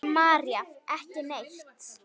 María: Ekki neitt.